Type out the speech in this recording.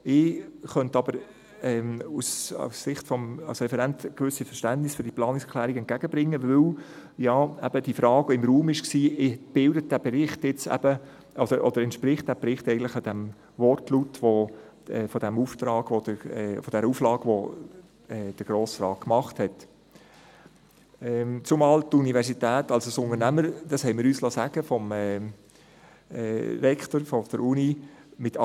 Ich könnte ihr aber als Referent ein gewisses Verständnis entgegenbringen, da ja eben die Frage im Raum stand, ob der Bericht eigentlich dem Wortlaut der Auflage, die der Grosse Rat gemacht hatte, entspricht, zumal die Universität als Unternehmen mit einer wachsenden, dynamischen Perspektive mit aktuell 25 000 Menschen – dies liessen wir uns vom Rektor der Uni sagen;